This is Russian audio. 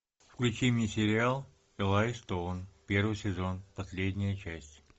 включи мне сериал элай стоун первый сезон последняя часть